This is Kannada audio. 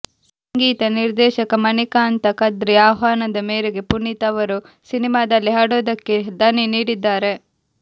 ಸಂಗೀತ ನಿರ್ದೇಶಕ ಮಣಿಕಾಂತ ಕದ್ರಿ ಆಹ್ವಾನದ ಮೇರೆಗೆ ಪುನೀತ್ ಅವರು ಸಿನಿಮಾದಲ್ಲಿ ಹಾಡೊಂದಕ್ಕೆ ದನಿ ನೀಡಿದ್ದಾರೆ